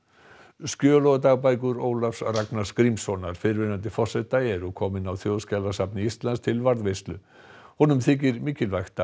skjöl og dagbækur Ólafs Ragnars Grímssonar fyrrverandi forseta eru komin á Þjóðskjalasafn Íslands til varðveislu honum þykir mikilvægt að